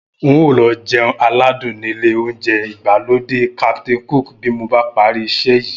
N óò lọ jẹun aládùn nílé oúnjẹ ìgbàlódé Captain Cook bí mo bá parí iṣẹ́ yìí